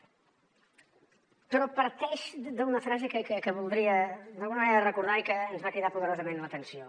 però parteix d’una frase que voldria d’alguna manera recordar i que ens va cridar poderosament l’atenció